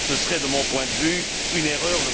Ce serait, de mon point de vue, une erreur.